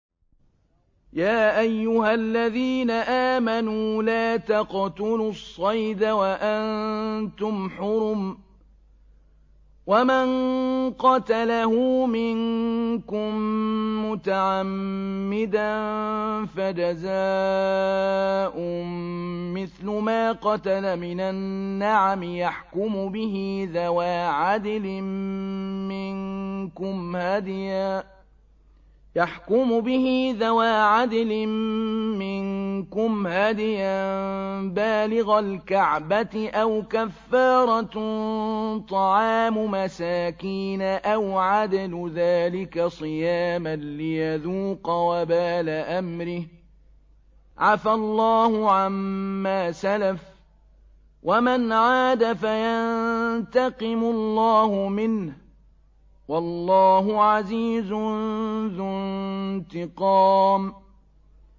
يَا أَيُّهَا الَّذِينَ آمَنُوا لَا تَقْتُلُوا الصَّيْدَ وَأَنتُمْ حُرُمٌ ۚ وَمَن قَتَلَهُ مِنكُم مُّتَعَمِّدًا فَجَزَاءٌ مِّثْلُ مَا قَتَلَ مِنَ النَّعَمِ يَحْكُمُ بِهِ ذَوَا عَدْلٍ مِّنكُمْ هَدْيًا بَالِغَ الْكَعْبَةِ أَوْ كَفَّارَةٌ طَعَامُ مَسَاكِينَ أَوْ عَدْلُ ذَٰلِكَ صِيَامًا لِّيَذُوقَ وَبَالَ أَمْرِهِ ۗ عَفَا اللَّهُ عَمَّا سَلَفَ ۚ وَمَنْ عَادَ فَيَنتَقِمُ اللَّهُ مِنْهُ ۗ وَاللَّهُ عَزِيزٌ ذُو انتِقَامٍ